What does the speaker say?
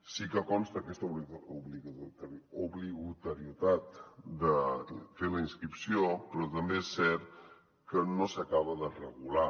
sí que hi consta aquesta obligatorietat de fer la inscripció però també és cert que no s’acaba de regular